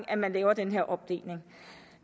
at man laver den her opdeling